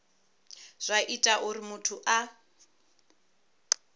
zwa ita uri muthu a